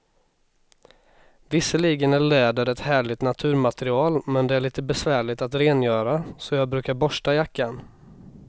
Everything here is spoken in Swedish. Visserligen är läder ett härligt naturmaterial, men det är lite besvärligt att rengöra, så jag brukar borsta jackan.